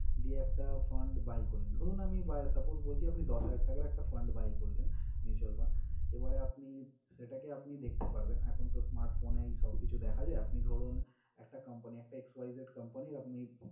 দিয়ে একটা fund buy করলেন। ধরুন, আমি বা suppose বলছি আপনি দশ হাজার টাকার একটা fund buy করলেন mutual fund, এবারে আপনি সেটাকে আপনি দেখতে পারবেন এখন তো smart phone এই সব কিছু দেখা যায়। আপনি ধরুন, একটা company একটা xyz company র আপনি